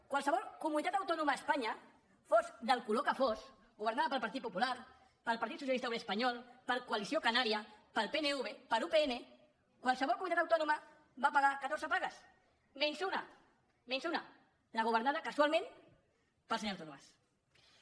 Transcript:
qualse·vol comunitat autònoma a espanya fos del color que fos governada pel partit popular pel partit socialista obrer espanyol per coalició canària pel pnv per upn qualsevol comunitat autònoma va pagar catorze pagues menys una menys una la governada casu·alment pel senyor artur mas